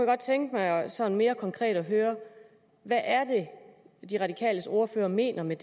godt tænke mig sådan mere konkret at høre hvad er det de radikales ordfører mener med